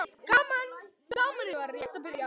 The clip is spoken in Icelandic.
TRYGGVI: Gamanið var rétt að byrja.